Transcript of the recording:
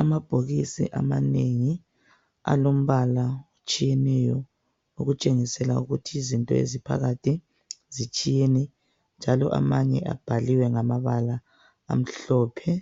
Amabhokisi amanengi alombala otshiyeneyo okutshengisela ukuthi izinto eziphakathi zitshiyene njalo amanye abhaliwe ngamabala amhlophe